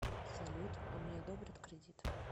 салют а мне одобрят кредит